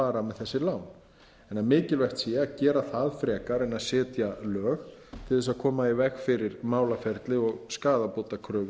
þannig að mikilvægt sé að gera það frekar en að setja lög til að koma í veg fyrir málaferli og skaðabótakröfu